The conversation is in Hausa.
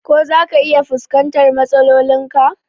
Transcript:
Ko zaka iya fuskantar matsalolin ka?